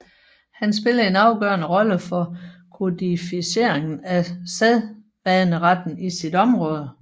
Han spillede en afgørende rolle for kodificeringen af sædvaneretten i sit område